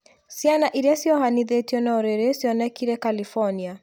Ciana iria ciohithanĩtio na ũrĩrĩ cionekire California